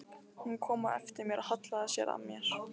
Hún kom á eftir mér og hallaði sér að mér.